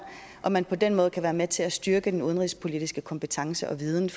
at man på den måde kan være med til at styrke den udenrigspolitiske kompetence og viden